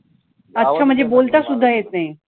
अच्छा म्हणजे बोलता सुद्धा येत नाही.